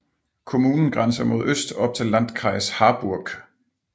Kommunen grænser mod øst op til Landkreis Harburg